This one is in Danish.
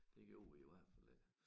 Det gjorde vi i hvert fald ikke